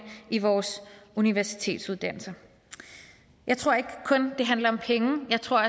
i vores universitetsuddannelser jeg tror ikke kun det handler om penge jeg tror